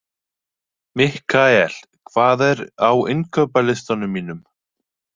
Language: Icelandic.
Mikkael, hvað er á innkaupalistanum mínum?